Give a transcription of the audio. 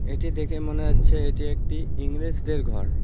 এটি দেখে মনে হচ্ছে এটি একটি ইংরেজদের ঘর।